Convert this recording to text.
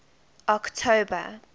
october